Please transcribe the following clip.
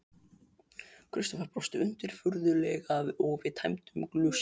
Kristófer brosti undirfurðulega og við tæmdum glösin.